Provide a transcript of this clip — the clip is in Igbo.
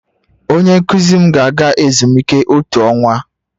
Onye nkuzi m ga-aga ezumike otu ọnwa